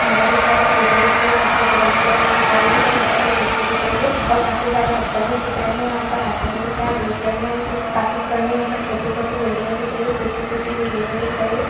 खंडर दिख रहा कुछ ईटें दिख रही हैं काफी पुरानी पुरानी दिख रही हैं ऊपर यहाँ पर कुछ मिट्टी दिख रही है और काफी सारा पत्थर भी दिख रहे हैं यहाँ पर आसमान दिख रहा है ब्लू कलर में और कुछ काफी पुराने छोटी छोटी बिल्डिंगे दिख रही हैं टूटी फुटी बिल्डिंगे दिख रही हैं।